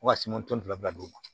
Fo ka se tɔn fila d'u ma